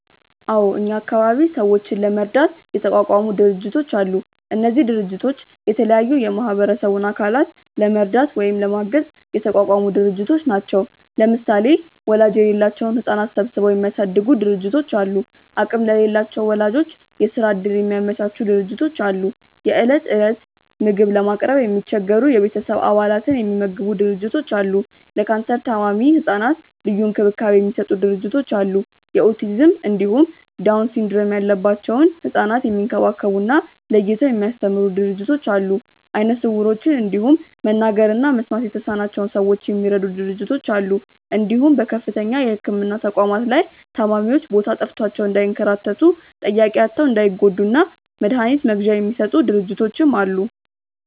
አዎ እኛ አካባቢ ሰዎችን ለመርዳት የተቋቋሙ ድርጅቶች አሉ። እነዚህ ድርጅቶች የተለያዩ የማህበረሰቡን አካላት ለመርዳት ወይም ለማገዝ የተቋቋሙ ድርጅቶች ናቸው። ለምሳሌ ወላጅ የሌላቸውን ህጻናት ሰብስበው የሚያሳድጉ ድርጅቶች አሉ፣ አቅም ለሌላቸው ወላጆች የስራ እድል የሚያመቻቹ ድርጅቶች አሉ፣ የእለት እለት ምግብ ለማቅረብ የሚቸገሩ የቤተሰብ አባላትን የሚመግቡ ድርጅቶች አሉ፣ ለካንሰር ታማሚ ህጻናት ልዩ እንክብካቤ የሚሰጡ ድርጅቶች አሉ፣ የኦቲዝም እንዲሁም ዳውን ሲንድረም ያለባቸውን ህጻናት የሚንከባከቡ እና ለይተው የሚያስተምሩ ድርጅቶች አሉ፣ አይነ ስውሮችን እንዲሁም መናገር እና መስማት የተሳናቸውን ሰዎች የሚረዱ ድርጅቶች አሉ እንዲሁም በከፍተኛ የህክምና ተቋማት ላይ ታማሚዎች ቦታ ጠፍቷቸው እንዳይንከራተቱ፣ ጠያቂ አጥተው እንዳይጎዱ እና መድሀኒት መግዣ የሚሰጡ ድርጅቶችም አሉ።